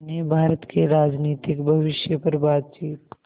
ने भारत के राजनीतिक भविष्य पर बातचीत